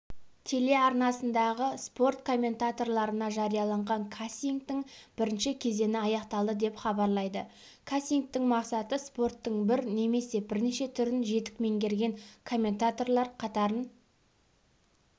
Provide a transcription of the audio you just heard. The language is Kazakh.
телеарнасындағы спорт комментаторларына жариялаған кастингтің бірінші кезеңі аяқталды деп хабарлайды кастингтің мақсаты спорттың бір немесе бірнеше түрін жетік меңгерген комментаторлар қатарын